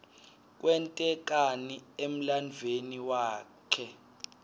kwente kani emlanduuemi waklte